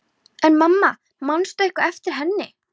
En mamma, manstu eitthvað eftir henni?